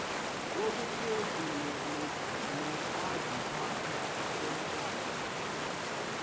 wobukrestu nokaziphatha komtshati